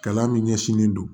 Kalan min ɲɛsinnen don